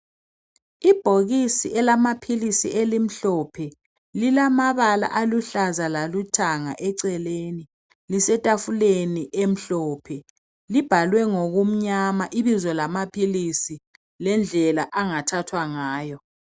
Ibhokisi elamaphilisi elimhlophe lilamabala aluhlaza lalithanga eceleni ,lisetafuleni emhlophe libhalwe ngokumnyama ibizo lamaphilisi lendlela angathathwa ngayo.